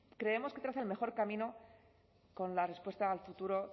el mejor camino con la respuesta al futuro